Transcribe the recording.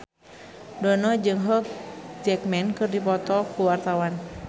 Dono jeung Hugh Jackman keur dipoto ku wartawan